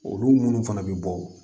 Olu minnu fana bɛ bɔ